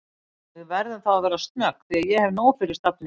Við verðum þá að vera snögg því ég hef nóg fyrir stafni